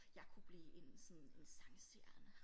Jeg kunne blive en sådan en sangstjerne